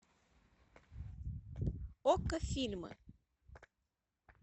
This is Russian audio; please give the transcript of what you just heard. окко фильмы